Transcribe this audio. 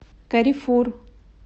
каррефур